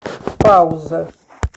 пауза